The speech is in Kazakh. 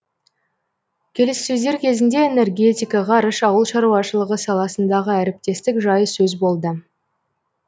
келіссөздер кезінде энергетика ғарыш ауыл шаруашылығы саласындағы әріптестік жайы сөз болды